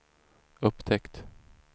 upptäckt